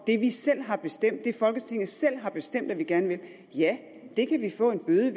det vi selv har bestemt det folketinget selv har bestemt at vi gerne vil ja det kan vi få en bøde